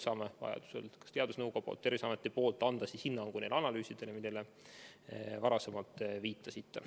Saame vajaduse korral lasta kas teadusnõukojal või Terviseametil anda hinnangu neile analüüsidele, millele te varasemalt viitasite.